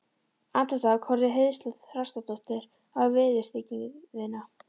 Andartak horfði Heiðló Þrastardóttir á viðurstyggðina